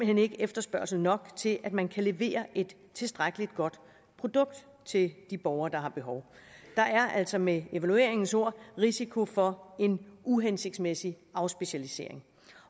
hen ikke efterspørgsel nok til at man kan levere et tilstrækkelig godt produkt til de borgere der har behov der er altså med evalueringens ord risiko for en uhensigtsmæssig afspecialisering